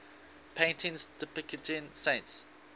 paintings depicting saints